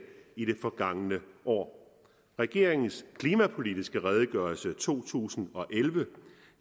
i det forgangne år regeringens klimapolitiske redegørelse to tusind og elleve